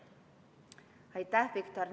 Aitäh, Viktor!